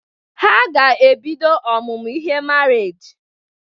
Ha ga-ebido ọmụmụ ihe marriage.